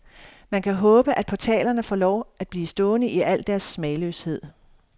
Man kan håbe, at portalerne får lov at blive stående i al deres smagløshed.